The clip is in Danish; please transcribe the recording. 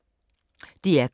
DR K